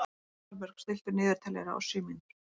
Aðalbjörg, stilltu niðurteljara á sjö mínútur.